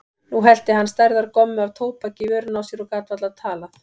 Nú hellti hann stærðar gommu af tóbaki í vörina á sér og gat varla talað.